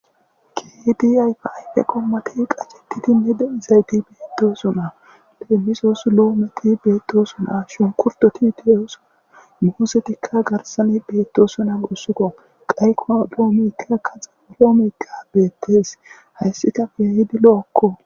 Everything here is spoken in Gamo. kedi ayfayde qommati qaccetiti mede izayti beetdosona leemisoo su loometi beetdoosona shunkurtoti teyos muosetikka garsani beettosonahussukko qayko loomeyka kaxe oloomeykka beettes hayssi kafya hidi lo7akko